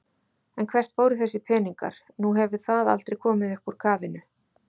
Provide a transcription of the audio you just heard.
En hvert fóru þessir peningar, nú hefur það aldrei komið upp úr kafinu?